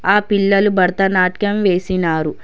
ఆ పిల్లలు భారత నాట్యం వేసినారు.